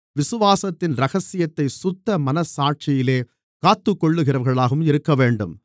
விசுவாசத்தின் இரகசியத்தைச் சுத்த மனச்சாட்சியிலே காத்துக்கொள்ளுகிறவர்களாகவும் இருக்கவேண்டும்